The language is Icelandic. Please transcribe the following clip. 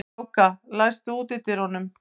Kráka, læstu útidyrunum.